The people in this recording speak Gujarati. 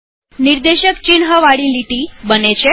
નિર્દેશક ચિન્હવાળી લીટી બને છે